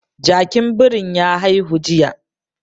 Jakin birin ya haihu jiya